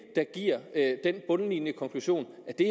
der giver den bundlinjekonklusion at det